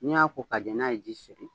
Ni y'a ko k'a jɛ n'a ye ji sɔrɔ.